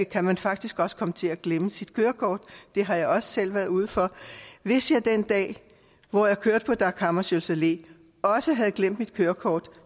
kan man faktisk også komme til at glemme sit kørekort det har jeg også selv været ude for hvis jeg den dag hvor jeg kørte på dag hammarskjölds allé også havde glemt mit kørekort